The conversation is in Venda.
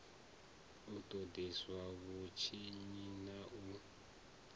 u ṱoḓisisa vhutshinyi na u